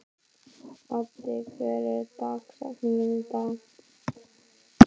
Baddi, hver er dagsetningin í dag?